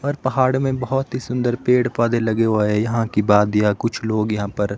पर पहाड़ मे बहोत ही सुंदर पेड़ पौधे लगे हुए है यहां की वादियां कुछ लोग यहां पर--